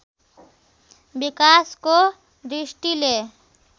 विकासको दृष्टिले